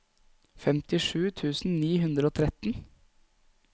femtisju tusen ni hundre og tretten